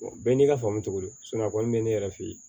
bɛɛ n'i ka faamu cogo don a kɔni bɛ ne yɛrɛ fɛ yen